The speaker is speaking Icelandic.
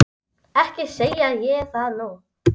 Ekki segi ég það nú.